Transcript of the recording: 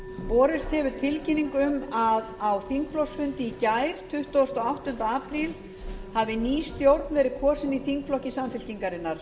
borist hefur tilkynning um að á þingflokksfundi í gær tuttugasta og áttunda apríl hafi ný stjórn verið kosin í þingflokki samfylkingarinnar